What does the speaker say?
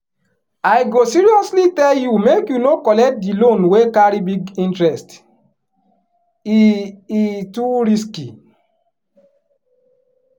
i go seriously tell you make you no collect the loan wey carry big interest e e too risky.